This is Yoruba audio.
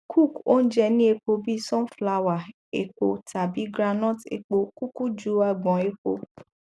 cook ounje ni epo bi sunflower epo tabi groundnut epo kuku ju agbon epo